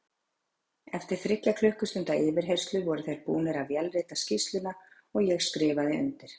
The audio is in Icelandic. Eftir þriggja klukkustunda yfirheyrslu voru þeir búnir að vélrita skýrsluna og ég skrifaði undir.